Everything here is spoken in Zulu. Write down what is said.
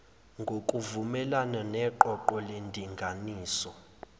ngokuvumelana neqoqo lendinganiso